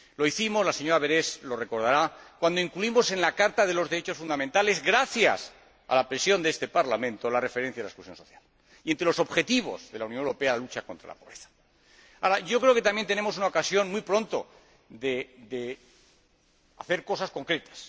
Lo hicimos —la Sra. Berès lo recordará— cuando incluimos en la Carta de los Derechos Fundamentales, gracias a la presión de este Parlamento, la referencia a la exclusión social y, entre los objetivos de la Unión Europea, la lucha contra la pobreza. Creo que muy pronto también tendremos una ocasión de hacer cosas concretas.